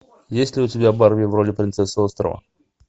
есть ли у тебя барби в роли принцессы острова